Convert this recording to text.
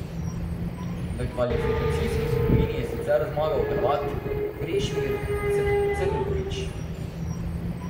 V kvalifikacijski skupini je sicer zmagal Hrvat Krešimir Crnković.